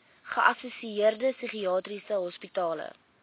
geassosieerde psigiatriese hospitale